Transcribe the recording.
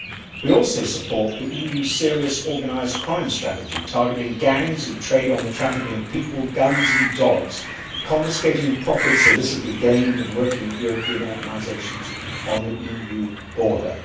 We also support the EU's serious organised crime strategy, targeting gangs who trade on the trafficking of people, guns and dogs, confiscating profits illicitly gained and working with European organisations on the EU border.